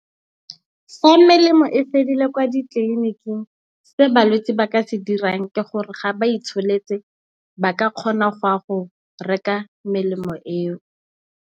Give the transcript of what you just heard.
Fa melemo e fedile kwa ditleliniking se balwetse ba ka se dirang ke gore ga ba itsholetse ba ka kgona go ya go reka melemo eo.